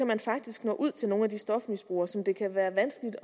man faktisk nå ud til nogle af de stofmisbrugere som det kan være vanskeligt